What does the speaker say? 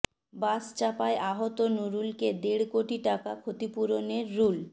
বাস চাপায় আহত নুরুলকে দেড় কোটি টাকা ক্ষতিপূরণে রুল